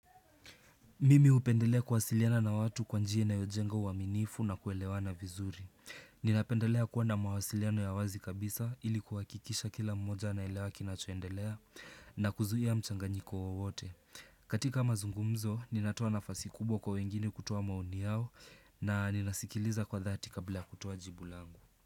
Mimi hupendelea kuwasiliana na watu kwa njia inayojenga uaminifu na kuelewana vizuri. Ninapendelea kuwa na mawasiliano ya wazi kabisa ili kuhakikisha kila mmoja anaelewa kinachoendelea na kuzuia mchanganyiko wowote. Katika mazungumzo, ninatoa nafasi kubwa kwa wengine kutoa maoni yao na ninasikiliza kwa thati kabla ya kutoa jibu langu.